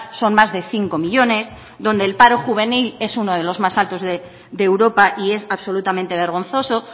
son más de cinco millónes donde el paro juvenil es uno de los más altos de europa y es absolutamente vergonzoso